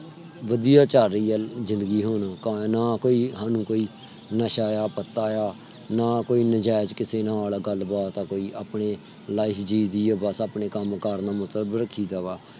ਵਧੀਆ ਚਲ ਰਹੀ ਆ ਜ਼ਿੰਦਗੀ ਹੁਣ ਕੋਈ ਨਸ਼ਾ ਆ ਪਤਾ ਆ ਨਾ ਕੋਈ ਨਜ਼ਾਇਜ ਕਿਸੇ ਨਾਲ ਗੱਲ ਬਾਤ ਆ ਕੋਈ ਆਪਣੀ life ਜੀ ਦੀ ਆ ਬਸ ਆਪਣੇ ਕਮ ਕਾਰ ਨਾਲ ਮਤਲਬ ਰੱਖੀ ਦਾ ਬਾ